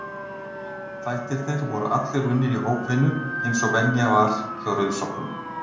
Þættirnir voru allir unnir í hópvinnu, eins og venja var hjá rauðsokkum.